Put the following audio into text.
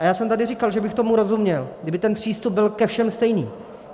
A já jsem tady říkal, že bych tomu rozuměl, kdyby ten přístup byl ke všem stejný.